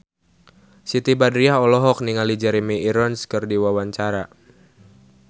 Siti Badriah olohok ningali Jeremy Irons keur diwawancara